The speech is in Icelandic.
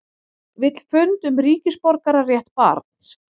Vill fund um ríkisborgararétt barns